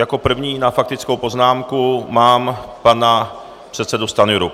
Jako první na faktickou poznámku mám pana předsedu Stanjuru.